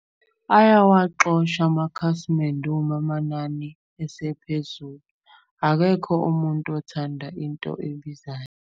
Ayawaxosha amakhasimende uma amanani esephezulu. Akekho umuntu othanda into ebizayo.